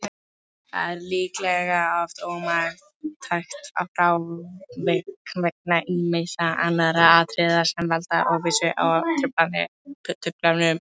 Það er líklega oft ómarktækt frávik vegna ýmissa annarra atriða sem valda óvissu og truflunum.